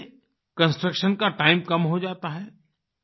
इससे कंस्ट्रक्शंस का टाइम कम हो जाता है